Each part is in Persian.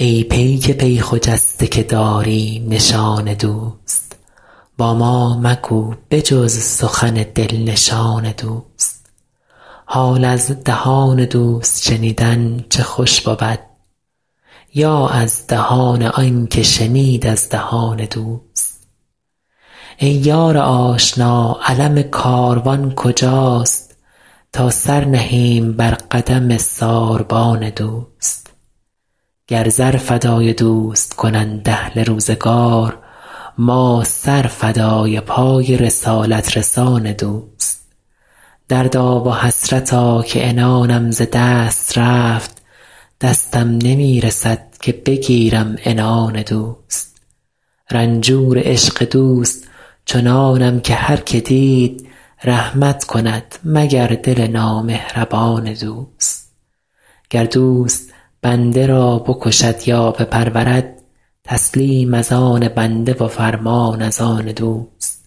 ای پیک پی خجسته که داری نشان دوست با ما مگو به جز سخن دل نشان دوست حال از دهان دوست شنیدن چه خوش بود یا از دهان آن که شنید از دهان دوست ای یار آشنا علم کاروان کجاست تا سر نهیم بر قدم ساربان دوست گر زر فدای دوست کنند اهل روزگار ما سر فدای پای رسالت رسان دوست دردا و حسرتا که عنانم ز دست رفت دستم نمی رسد که بگیرم عنان دوست رنجور عشق دوست چنانم که هر که دید رحمت کند مگر دل نامهربان دوست گر دوست بنده را بکشد یا بپرورد تسلیم از آن بنده و فرمان از آن دوست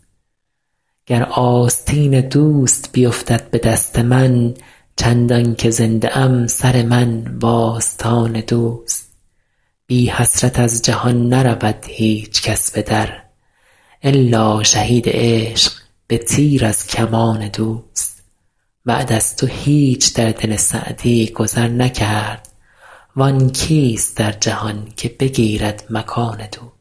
گر آستین دوست بیفتد به دست من چندان که زنده ام سر من و آستان دوست بی حسرت از جهان نرود هیچ کس به در الا شهید عشق به تیر از کمان دوست بعد از تو هیچ در دل سعدی گذر نکرد وآن کیست در جهان که بگیرد مکان دوست